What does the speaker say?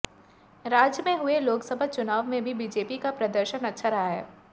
राज्य में हुए लोकसभा चुनाव में भी बीजेपी का प्रदर्शन अच्छा रहा है